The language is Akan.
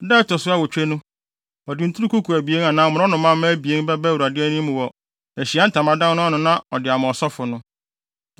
Da a ɛto so awotwe no, ɔde nturukuku abien anaa mmorɔnomamma abien bɛba Awurade anim wɔ Ahyiae Ntamadan no ano na ɔde ama ɔsɔfo no.